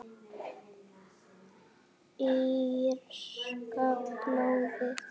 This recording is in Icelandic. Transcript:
Írska blóðið?